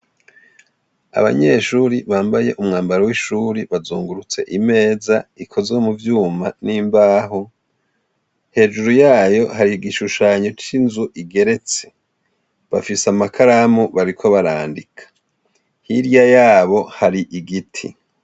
Abanyeshuri bambaye umwambaro w'ishuri bazungurutse imeza ikozwe mu vyuma n'imbaho hejuru yayo hari igishushanyo c'inzu igeretse bafise amakaramu bariko barandika, hirya yabo hari igiti.